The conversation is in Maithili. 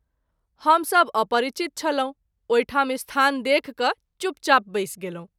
हम सभ अपरिचित छलहुँ ओहि ठाम स्थान देखि क’ चुप चाप बैस गेलहुँ।